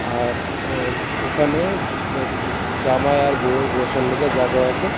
আর উ ওখানে আ্য জামাই আর বউয়ের বসার লগে জাগাও আসে।